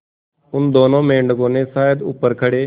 उन दोनों मेढकों ने शायद ऊपर खड़े